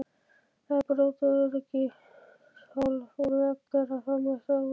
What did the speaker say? Að brjóta öryggishólf úr vegg og fara með það út!